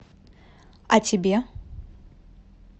а тебе